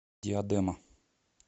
диадема